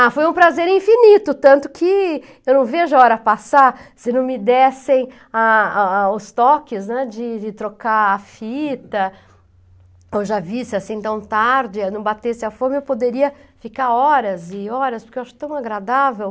Ah, foi um prazer infinito, tanto que eu não vejo a hora passar, se não me dessem a a a os toques, né, de de trocar a fita, ou já visse assim tão tarde, não batesse a fome, eu poderia ficar horas e horas, porque eu acho tão agradável.